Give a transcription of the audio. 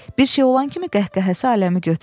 Bir şey olan kimi qəhqəhəsi aləmi götürürdü.